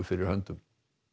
fyrir höndum